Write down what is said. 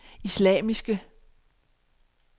islamiske